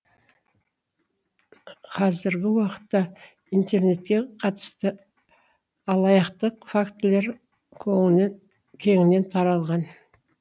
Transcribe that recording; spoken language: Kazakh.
қазіргі уақытта интернетке қатысты алаяқтық фактілері кеңінен таралған